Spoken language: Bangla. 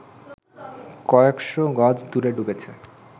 কয়েকশ গজ দূরে ডুবেছে